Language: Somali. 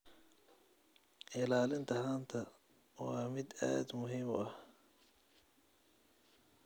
Ilaalinta haanta waa mid aad muhiim u ah.